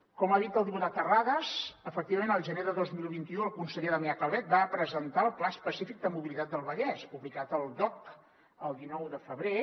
com ha dit el diputat terrades efectivament al gener de dos mil vint u el conseller damià calvet va presentar el pla específic de mobilitat del vallès publicat al dogc el dinou de febrer